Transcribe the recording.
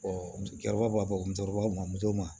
musokɔrɔba b'a fɔ musokɔrɔba ma muso ma